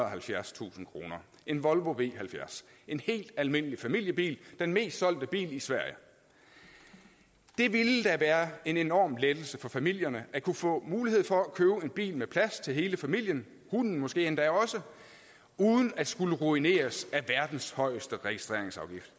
og halvfjerdstusind kroner en volvo v70 en helt almindelig familiebil den mest solgte bil i sverige det ville da være en enorm lettelse for familierne at kunne få mulighed for at købe en bil med plads til hele familien hunden måske endda også uden at skulle ruineres af verdens højeste registreringsafgift